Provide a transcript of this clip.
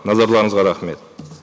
назарларыңызға рахмет